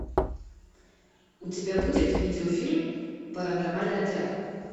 у тебя будет видеофильм паранормальный отряд